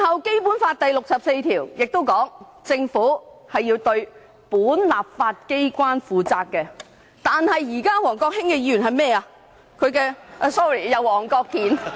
《基本法》第六十四條亦訂明，政府要對本立法機關負責，但王國興議員現在要幹甚麼？